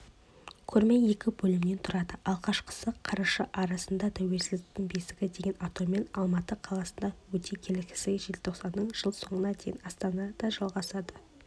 көрме екі бөлімнен тұрады алғашқысы қараша арасында тәуелсіздіктің бесігі деген атаумен алматы қаласында өтсе келесісі желтоқсаннан жыл соңына дейін астанада жалғасады